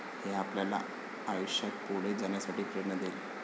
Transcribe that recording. हे आपल्याला आयुष्यात पुढे जाण्यासाठी प्रेरणा देईल.